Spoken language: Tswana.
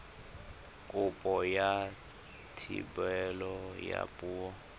kopo ya thebolo ya poo